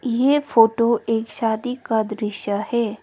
ये फोटो एक शादी का दृश्य है।